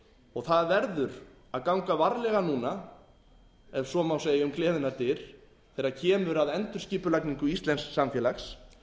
og það verður að ganga varlega núna ef svo má segja um gleðinnar dyr þegar kemur að endurskipulagningu íslensks samfélags